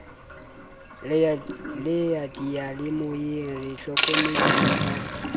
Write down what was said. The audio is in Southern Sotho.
le diyalemoyeng re hlokomediswa ka